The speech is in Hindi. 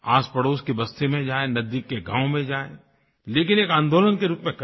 आसपड़ोस की बस्ती में जायें नज़दीक के गाँव में जायें लेकिन एक आन्दोलन के रूप में करें